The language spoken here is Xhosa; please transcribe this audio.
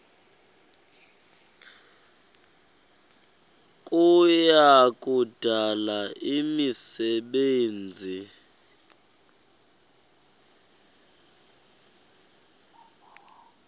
kuya kudala imisebenzi